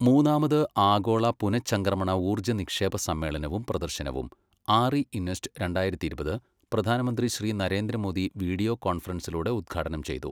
മൂന്നാമത് ആഗോള പുനചംക്രമണ ഊർജ നിക്ഷേപ സമ്മേളനവും പ്രദർശനവും ആർഇ ഇന്വെസ്റ്റ് രണ്ടായിരത്തി ഇരുപത് പ്രധാനമന്ത്രി ശ്രീ നരേന്ദ്രമോദി വിഡിയോ കോണ്ഫറൻസിലൂടെ ഉദ്ഘാടനം ചെയ്തു.